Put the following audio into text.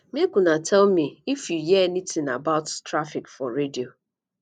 make una tell me if you hear anything about traffic for radio